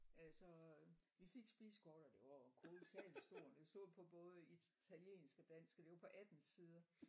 Øh så vi fik spisekortet og det var jo kolosalt stort og det stod på både italiensk og dansk og det var på 18 sider